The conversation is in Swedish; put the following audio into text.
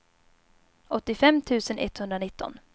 åttiofem tusen etthundranitton